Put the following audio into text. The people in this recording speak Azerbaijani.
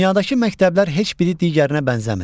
Dünyadakı məktəblər heç biri digərinə bənzəmir.